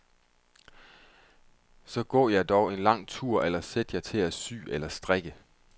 Så gå jer dog en lang tur eller sæt jer til at sy eller strikke.